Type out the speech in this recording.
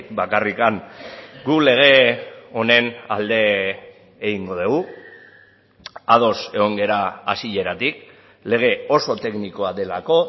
bakarrik gu lege honen alde egingo dugu ados egon gara hasieratik lege oso teknikoa delako